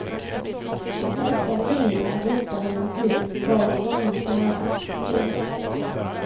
De streckade linjerna visar hur man hittills varit tvungen att göra. punkt